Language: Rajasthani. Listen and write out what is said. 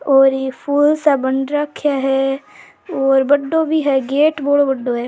और ये फूल सा बन राख्या है और बड़ो भी है गेट बड़ाे बढ़ो है।